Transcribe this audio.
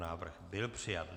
Návrh byl přijat.